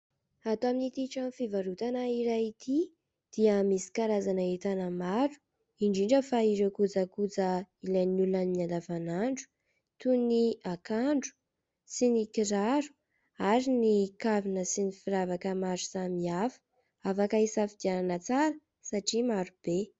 Atao amin'ity trano fivarotana iray ity dia misy karazana entana maro indrindra fa ireo kojakoja ilain'ny olona amin'ny andavan'andro toy ny akanjo sy ny kiraro ary ny kavina sy ny firavaka maro samihafa afaka hisafidianana tsara satria maro be